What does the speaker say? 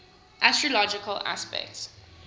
astrological aspects